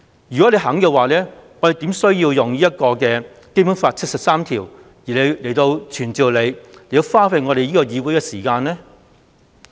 如果她願意這樣做，我們怎麼會建議根據《基本法》第七十三條傳召她，花費議會時間呢？